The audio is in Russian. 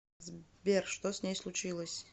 сбер что с ней случилось